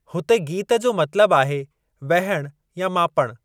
हुते गीत जो मतलबु आहे वहिण या मापणु।